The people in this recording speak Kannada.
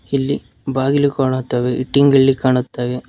ಇಲ್ಲಿ ಬಾಗಿಲು ಕಾಣುತ್ತವೆ ಇಟ್ಟಿಂಗಿಳ್ಳಿ ಕಾಣುತ್ತವೆ.